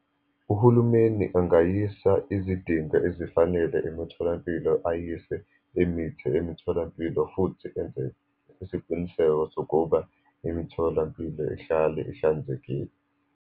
Uhulumeni angayisa izidingo ezifanele emitholampilo, ayiswe imithi emitholampilo, futhi enze isiqiniseko sokuba imitholampilo ihlale ihlanzekile.